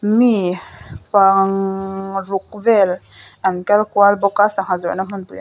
mi pang ruk vel an kal kual bawk a sangha zawrhna hmunpui--